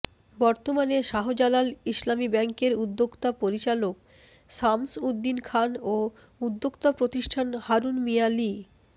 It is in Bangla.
বর্তমানে শাহজালাল ইসলামী ব্যাংকের উদ্যোক্তা পরিচালক শামস উদ্দিন খান ও উদ্যোক্তা প্রতিষ্ঠান হারুন মিয়া লি